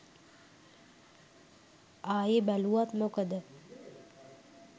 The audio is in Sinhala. ආයෙ බැලුවත් මොකද.